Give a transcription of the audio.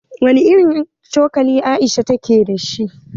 Wani irin cokali Aisha ta ke dashi?